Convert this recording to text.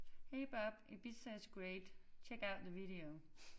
Hey Bob Ibiza is great check out the video